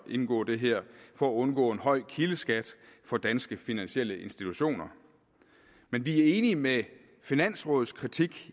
at indgå det her for at undgå en høj kildeskat for danske finansielle institutioner men vi er enige i finansrådets kritik